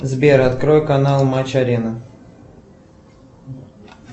сбер открой канал матч арена